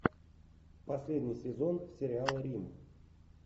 последний сезон сериала рим